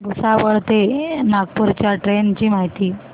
भुसावळ ते नागपूर च्या ट्रेन ची माहिती